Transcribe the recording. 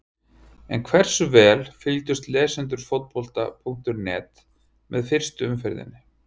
En hversu vel fylgdust lesendur Fótbolta.net með fyrstu umferðinni?